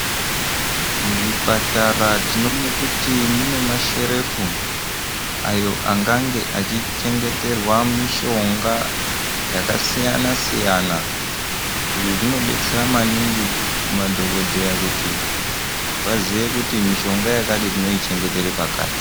Muzvipatara tinoona kuti munemasherefu ayo angange achichengeterwa mishonga yakasiyana-siyana izvo zvinodetsera maningi madhokodheya kuti vazive kuti mishonga yakati tinoichengetera pakati.